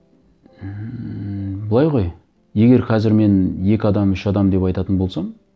ммм былай ғой егер қазір мен екі адам үш адам деп айтатын болсам